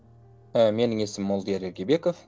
ы менің есімім молдияр ергебеков